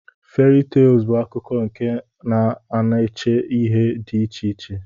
Fary tels bu akkụkọ nke na ana eche ihe di iche iche.